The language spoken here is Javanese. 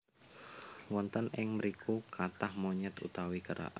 Wonten ing mriku kathah monyet utawi kera